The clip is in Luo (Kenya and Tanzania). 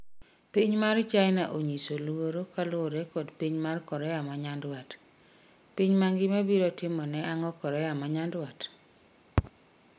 Piny mar China 'onyiso luoro' kaluore kod piny mar Korea manyandwat. Pny mangima biro timo ne ang'o Korea manyadwat?